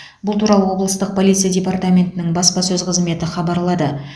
бұл туралы облыстық полиция департаментінің баспасөз қызметі хабарлады